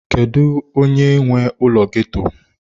Kedu onye nwe ụlọ ghetto?